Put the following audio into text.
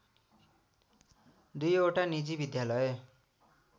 दुईवटा निजी विद्यालय